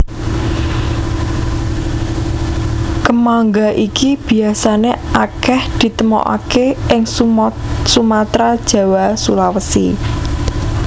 Kemangga iki biasané akèh ditemokaké ing Sumatra Jawa Sulawesi